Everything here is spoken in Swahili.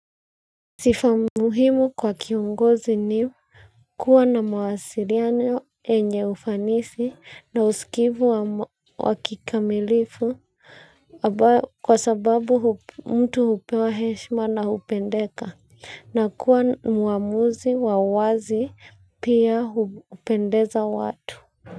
Sifa muhimu kwa kiongozi ni kuwa na mawasiliano yenye ufanisi na usikivu wa kikamilifu kwa sababu mtu hupewa heshima na kupendeka na kuwa mwamuzi wa wazi na pia hupendeza watu.